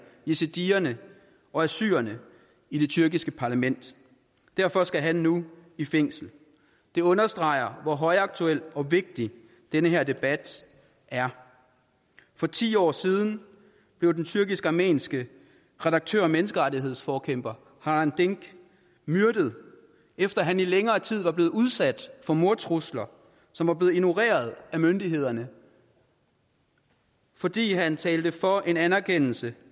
yazidierne og assyrerne i det tyrkiske parlament derfor skal han nu i fængsel det understreger hvor højaktuel og vigtig den her debat er for ti år siden blev den tyrkisk armenske redaktør og menneskerettighedsforkæmper hrant dink myrdet efter at han i længere tid var blevet udsat for mordtrusler som var blevet ignoreret af myndighederne fordi han talte for en anerkendelse